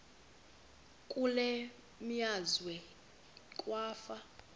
kule meazwe kwafa